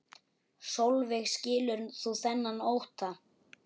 Sólveig: Skilur þú þennan ótta?